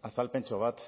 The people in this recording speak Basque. azalpentxo bat